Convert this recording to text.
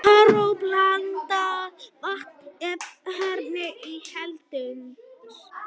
Klórblandað vatn hefur áhrif á heilsuna